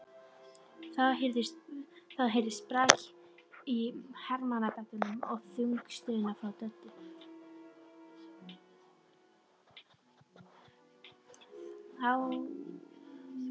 Þá heyrðist brak í hermannabeddanum og þung stuna frá Döddu.